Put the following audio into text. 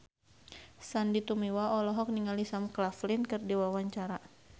Sandy Tumiwa olohok ningali Sam Claflin keur diwawancara